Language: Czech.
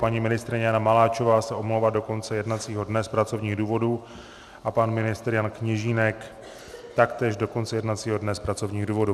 Paní ministryně Jana Maláčová se omlouvá do konce jednacího dne z pracovních důvodů a pan ministr Jan Kněžínek taktéž do konce jednacího dne z pracovních důvodů.